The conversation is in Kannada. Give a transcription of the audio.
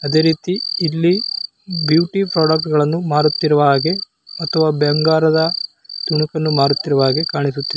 ಅದೇ ರೀತಿಯಲ್ಲಿ ಬ್ಯೂಟಿ ಪ್ರಾಡಕ್ಟ್ ಮಾಡುತ್ತಿರುವ ಹಾಗೆ ಮತ್ತು ಬಂಗಾರದ ತುಣುಗಳು ಮಾರುತ್ತಿರುವ ಹಾಗೆ ಕಾಣಿಸುತ್ತಿದೆ.